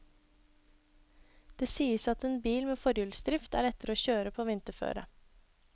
Det sies at en bil med forhjulsdrift er lettere å kjøre på vinterføre.